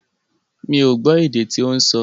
Mi ò gbọ́ èdè tí ó ń sọ.